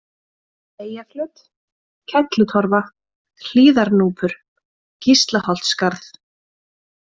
Eyjaflöt, Kellutorfa, Hlíðarnúpur, Gíslaholtsskarð